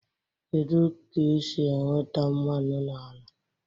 Kedu ka esi enweta mmanụ n'ala?